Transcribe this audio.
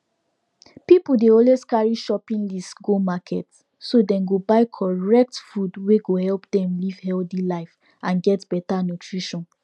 pipiu dey always carry shopping list go market so dem go buy correct food wey go help dem live healthy life and get better nutrition